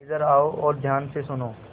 इधर आओ और ध्यान से सुनो